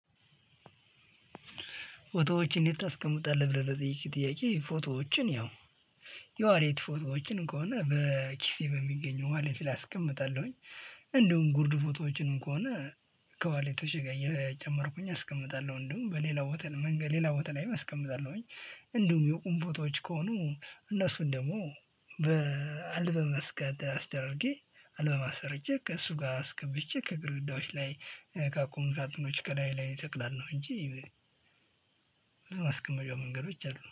ፎቶወችን የት ታስቀምጣለህ ብለህ ለጠየከኝ ጥያቄ ፎቶዎችን ያው የዋሌት ፎቶዎችን ከሆነ በኪሴ በሚገኘው ዋሌት አስቀምጣለሁኝ። እንደውም ጉርድ ፎቶዎችን ከሆነ ከዋሊቶች ጋር እየጨመርኩኝ አስቀምጣለሁ እንደውም በሌላ ቦታ መንገድ ሌላ ቦታ ላይም አስቀምጣለሁኝ። እንደውም እንዲሁም የቁም ፎቶዎች ከሆኑ እነሱን ደግሞ በአልበም አስደረጌ አልበማ አሰርቼ ከእሱ ጋር አስገብቼ ከግርግዳዎች ላይ ከአቁሙ ሳጥኖች ከላይ ላይ እሰቅላለሁ ነው። እንጂ ማስቀመጫ መንገዶች አሉ